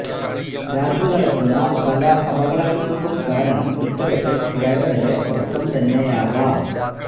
രാത്രി നടക്കുന്ന പല അപകടങ്ങൾക്കും കാരണം ഇത്തരത്തിൽ ഡ്രൈവറുടെ ഉറക്കം തന്നെയാകാം